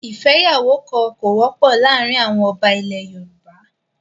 ìfẹ́yàwókan kò wọ́pọ̀ láàárín àwọn ọba ilẹ̀ Yorùbá.